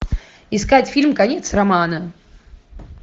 искать фильм конец романа